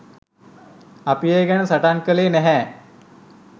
අපි ඒ ගැන සටන් කළේ නැහැ.